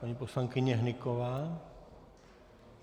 Paní poslankyně Hnyková?